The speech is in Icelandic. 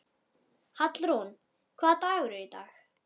Hallrún, hvaða dagur er í dag?